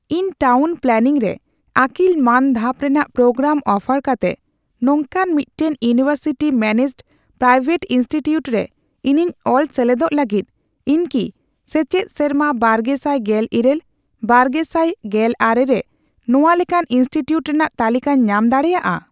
ᱤᱧ town planning ᱨᱮ ᱟᱹᱠᱤᱞ ᱢᱟᱱ ᱫᱷᱟᱯ ᱨᱮᱱᱟᱜ ᱯᱨᱳᱜᱨᱟᱢ ᱚᱯᱷᱟᱨ ᱠᱟᱛᱮ ᱱᱚᱝᱠᱟᱱ ᱢᱤᱫᱴᱟᱝ ᱤᱭᱩᱱᱤᱣᱮᱨᱥᱤᱴᱤ ᱢᱮᱱᱮᱡᱰᱼᱯᱨᱟᱭᱣᱮᱴ ᱤᱱᱥᱴᱤᱴᱤᱭᱩᱴ ᱨᱮ ᱤᱧᱤᱧ ᱚᱞ ᱥᱮᱞᱮᱫᱚᱜ ᱞᱟᱹᱜᱤᱫ, ᱤᱧ ᱠᱤ ᱥᱮᱪᱮᱫ ᱥᱮᱨᱢᱟ ᱵᱟᱨᱜᱮᱥᱟᱭ ᱜᱮᱞ ᱤᱨᱟᱹᱞ ᱼᱵᱟᱨᱜᱮᱥᱟᱭ ᱜᱮᱞ ᱟᱨᱮ ᱨᱮ ᱱᱚᱣᱟ ᱞᱮᱠᱟᱱ ᱤᱱᱥᱴᱤᱴᱤᱭᱩᱴ ᱨᱮᱱᱟᱜ ᱛᱟᱞᱤᱠᱟᱧ ᱧᱟᱢ ᱫᱟᱲᱮᱭᱟᱜᱼᱟ ?